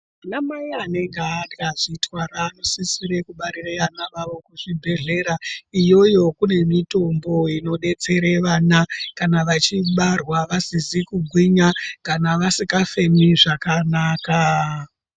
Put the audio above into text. Anamai anenge vakazvitwara vanosisire kubarira ana awo kuzvibhedhlera. Iyoyo kune mitombo inodetsere vana kana vachibarwa vasizi kugwinya kana vasikafemi zvakanaka.